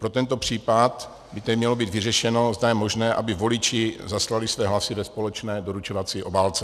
Pro tento případ by tady mělo být vyřešeno, zda je možné, aby voliči zaslali své hlasy ve společné doručovací obálce.